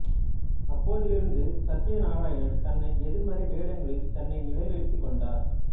அப்போதிருந்து சத்யநாராயணன் தன்னை எதிர்மறை வேடங்களில் தன்னை நிலைநிறுத்திக் கொண்டார்